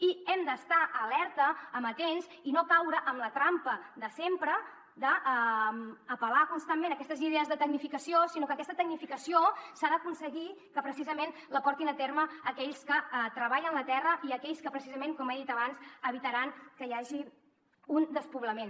i hem d’estar alerta amatents i no caure en la trampa de sempre d’apel·lar constantment a aquestes idees de tecnificació sinó que aquesta tecnificació s’ha d’aconseguir que precisament la portin a terme aquells que treballen la terra i aquells que precisament com he dit abans evitaran que hi hagi un despoblament